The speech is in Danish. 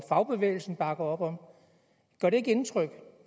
fagbevægelsen bakker op om gør det ikke indtryk